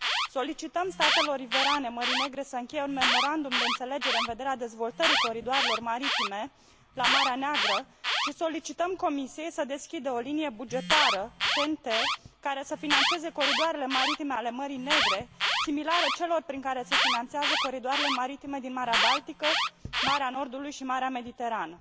Solicităm statelor riverane Mării Negre să încheie un memorandum de înțelegere în vederea dezvoltării coridoarelor maritime la Marea Neagră și solicităm Comisiei să deschidă o linie bugetară TNT care să finanțeze coridoarele maritime ale Mării Negre, similare celor prin care se finanțează coridoarele maritime din Marea Baltică, Marea Nordului și Marea Mediterană.